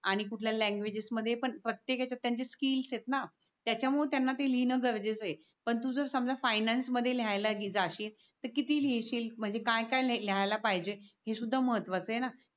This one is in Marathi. आणि कुठल्या लँग्वेजेस मध्ये पण प्रत्येक हेच्यात त्यांचे स्किल्स येत ना त्याच्यामुळे त्यांना ते लिहीन गरजेच ये. पण तू जर समझा फायनान्स मध्ये लिहायला जाशील. तर किती लिहिशील म्हणजे काय काय लिहायला पाहिजे. हे सुधा महत्व च ये ना